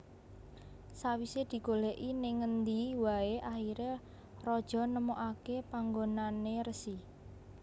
Sawise digoleki ning ngendi wae akhire raja nemokake panggonane resi